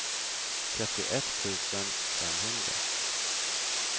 trettioett tusen femhundra